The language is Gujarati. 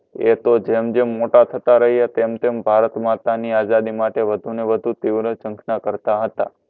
એ તો જેમ જેમ મોટા થતા રહ્યે તેમ તેમ ભારત માતાની આઝાદી માટે વધુને વધુ તીવ્ર જંખના કરતા હતા.